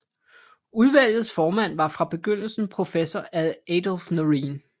Udvalgets formand var fra begyndelsen professor Adolf Noreen